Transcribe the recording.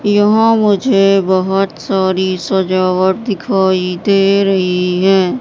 यहां मुझे बहोत सारी सजावट दिखाई दे रही है।